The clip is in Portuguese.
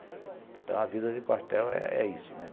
Então a vida de quartel é isso, né?